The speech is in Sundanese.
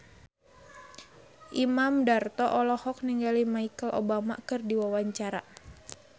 Imam Darto olohok ningali Michelle Obama keur diwawancara